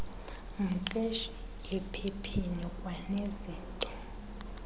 mqeshi ephepheni kwanezinto